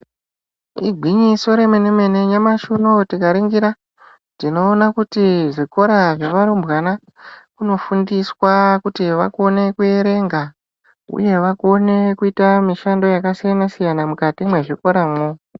Igwinyiso remene mene nyamashi unou tikaringira tinoona kuti zvikora zvevarumbwana zvinofundiswa kuti vakone kuerenga uye vakone kuita mushando yakasiyana siyana mukati mwezvikoramwo.